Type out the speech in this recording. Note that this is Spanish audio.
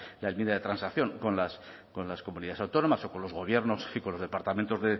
la enmienda de transacción con las comunidades autónomas o con los gobiernos y con los departamentos